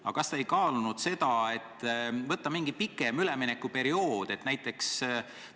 Aga kas te ei kaalunud seda, et võiks olla mingi pikem üleminekuperiood?